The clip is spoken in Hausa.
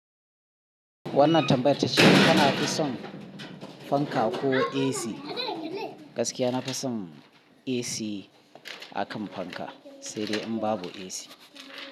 Wannan tambayar ta ce kana fi son fanka ko AC? Gaskiya na fi son AC akan fanka, sai dai in babu AC.